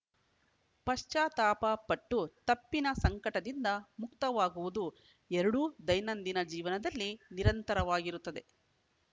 ಪಶ್ಚಾತ್ತಾಪ ಪಟ್ಟು ತಪ್ಪಿನ ಸಂಕಟದಿಂದ ಮುಕ್ತವಾಗುವುದು ಎರಡೂ ದೈನಂದಿನ ಜೀವನದಲ್ಲಿ ನಿರಂತರವಾಗಿರುತ್ತದೆ